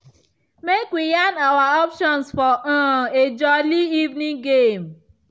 make we yan our options for um a jolli evening game.